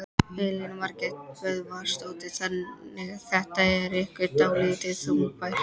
Elín Margrét Böðvarsdóttir: Þannig þetta er ykkur dálítið þungbært?